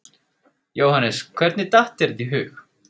Jóhannes: Hvernig datt þér þetta í hug?